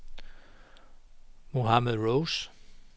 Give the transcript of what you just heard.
Mohamed Rose